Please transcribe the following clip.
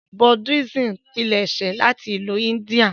Buddhism pilẹṣẹ láti ìlu India.